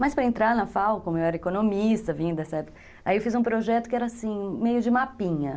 Mas para entrar na FAO, como eu era economista vindo dessa época, aí eu fiz um projeto que era assim, meio de mapinha.